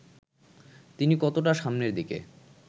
তিনি কতটা সামনের দিকে